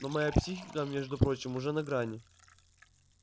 но моя психика между прочим уже на грани